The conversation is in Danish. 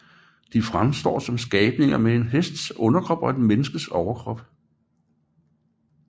De fremstår som skabninger med en hests underkrop og et menneskes overkrop